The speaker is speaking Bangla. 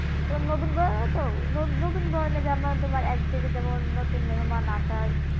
তো নবীনবরণও তো ন~ নবীনবরণে যেমন তোমার একদিনে যেমন নতুন আসার,